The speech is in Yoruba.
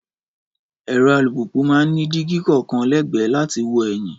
Ẹ̀rọ alùpùpù máa ń ní dígí kọ̀ọ̀kan lẹ́gbẹ̀ẹ́ láti fi wo ẹ̀yìn